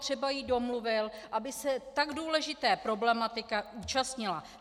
Třeba jí domluvil, aby se tak důležité problematiky účastnila.